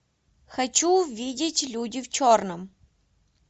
хочу увидеть люди в черном